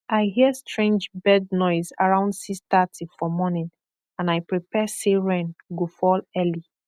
i hear strange bird noise around 630 for morning and i prepare say rain go fall early